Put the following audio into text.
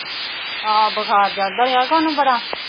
ਹਾਂ ਬੁਖਾਰ ਚੜਦਾ ਰਿਹਾ ਉਹਨੂੰ ਬੜਾ।